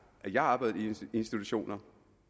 jeg arbejdede i institutioner